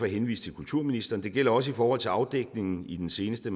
henvise til kulturministeren det gælder også i forhold til afdækningen i den seneste